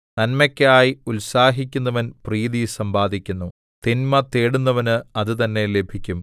നന്മയ്ക്കായി ഉത്സാഹിക്കുന്നവൻ പ്രീതി സമ്പാദിക്കുന്നു തിന്മ തേടുന്നവന് അത് തന്നെ ലഭിക്കും